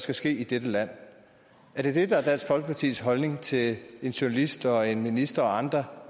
skal ske i dette land er det det der er dansk folkepartis holdning til en journalist og en minister og andre